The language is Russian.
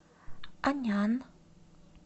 анян